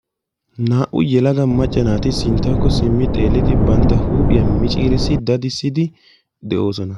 Naa"u yelaga macca naati sinttawukko simmi xeelli bantta huuphiya miciirissi dadissidi de'oosona.